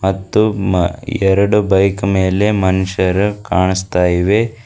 ಮತ್ತು ಮ ಎರಡು ಬೈಕ್ ಮೇಲೆ ಮನುಷ್ಯರು ಕಾಣಿಸ್ತಾ ಇವೆ.